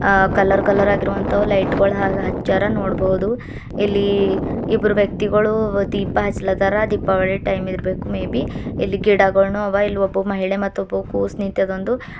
ಅ colour colour ಆಗಿರುವಂತವು light ಗಳು ಹಾಗೆ ಅಚ್ಯಾರೆ ನೋಡಬಹುದು ಇಲ್ಲಿ ಇಬ್ಬರು ವ್ಯಕ್ತಿಗಳು ದೀಪ ಹಚ್ಚಲದಾರ ದೀಪಾವಳಿ ಟೈಮ್ ಇರಬೇಕು ಮೇಬಿ ಇಲ್ಲಿ ಗಿಡಗಳನ್ನು ಅವೇ ಇಲ್ಲಿ ಒಬ್ಬ ಮಹಿಳೆ ಮತ್ತು ಒಬ್ಬ ಕೂಸ್ ನಿಂತದ ಒಂದು --